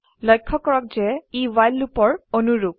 লক্ষ্য কৰক যে ই ৱ্হাইল লুপৰ অনুৰুপ